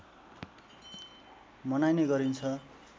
मनाइने गरिन्छ